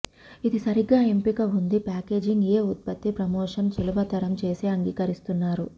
ఇది సరిగ్గా ఎంపిక ఉంది ప్యాకేజింగ్ ఏ ఉత్పత్తి ప్రమోషన్ సులభతరం చేసే అంగీకరిస్తున్నారు